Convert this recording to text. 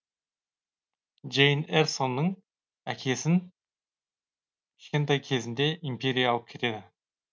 джейн эрсоның әкесін кішкентай кезінде империя алып кетеді